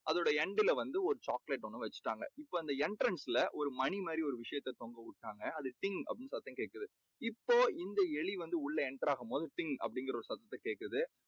அதோட end ல வந்து ஒரு chocolate வெச்சுட்டாங்க. entrance ல ஒரு மணி மாதிரி ஒரு விஷயத்தை தொங்கவிட்டாங்க. அது டிங் அப்படீன்னு சத்தம் கேக்குது. இப்போ இந்த எலி வந்து உள்ள enter ஆகும் போது டிங் அப்படீங்கற ஒரு சத்தம் கேக்குது.